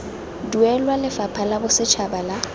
duelwa lefapha la bosetšhaba la